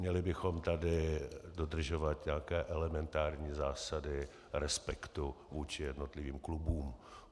Měli bychom tady dodržovat nějaké elementární zásady respektu vůči jednotlivým klubům.